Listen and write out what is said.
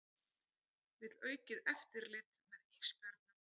Vill aukið eftirlit með ísbjörnum